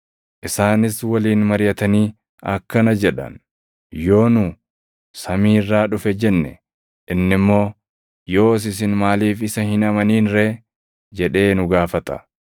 Isaanis waliin mariʼatanii akkana jedhan; “Yoo nu, ‘Samii irraa dhufe’ jenne inni immoo, ‘Yoos isin maaliif isa hin amanin ree?’ jedhee nu gaafata;